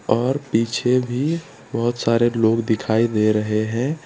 और पीछे भी बहोत सारे लोग दिखाई दे रहे हैं।